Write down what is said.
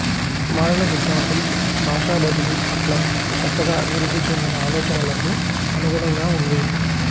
మారిన సిద్ధాంతం భాషా బదిలీ పట్ల కొత్తగా అభివృద్ధి చెందిన ఆలోచనలకు అనుగుణంగా ఉంది